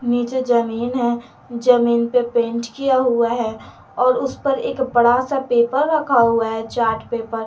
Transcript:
नीचे जमीन है जमीन पे पेंट किया हुआ है और और उस पर एक बड़ा सा पेपर रखा हुआ है चार्ट पेपर ।